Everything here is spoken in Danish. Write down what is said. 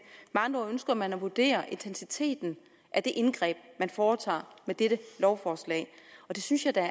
med andre ord ønsker man at vurdere intensiteten af det indgreb man foretager med dette lovforslag og det synes jeg da